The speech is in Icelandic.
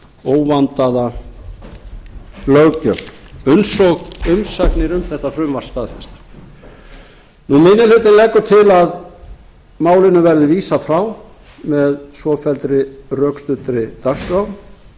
óvandaða löggjöf eins og umsagnir um þetta frumvarp staðfesta minni hlutinn leggur til að málinu verði vísað frá með svofelldri rökstuddri dagskrá með leyfi